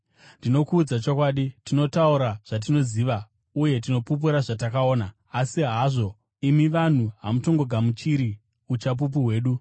Ndinokuudza chokwadi, tinotaura zvatinoziva, uye tinopupura zvatakaona, asi hazvo, imi vanhu hamutongogamuchiri uchapupu hwedu.